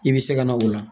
I bɛ se ka na o la